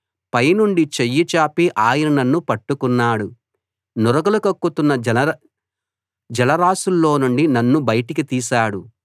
పైనుండి చెయ్యి చాపి ఆయన నన్ను పట్టుకున్నాడు నురగలు కక్కుతున్న జలరాసుల్లో నుండి నన్ను బయటికి తీశాడు